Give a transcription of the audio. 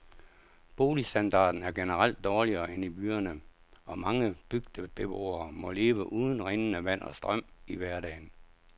Boligstandarden er generelt dårligere end i byerne, og mange bygdebeboere må leve uden rindende vand og strøm i hverdagen.